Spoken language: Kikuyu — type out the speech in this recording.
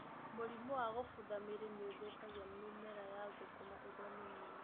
Mũrimũ wa gũbutha mĩri nĩũthũkagia mĩmera ya thũkũma ĩrĩ mĩnini.